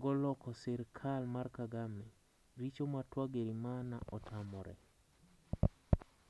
go loko sirikal mar Kagame. richo ma Twagarimana otamore.